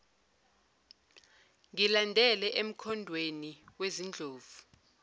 ngilandele emkhondweni wezindlovu